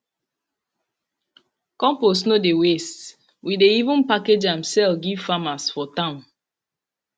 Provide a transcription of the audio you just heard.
compost no dey waste we dey even package am sell give farmers for town